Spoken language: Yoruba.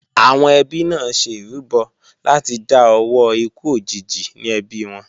Àwọn ẹbí náà ṣe ìrúbọ láti dá owó ikú òjijì ní ẹbí wọn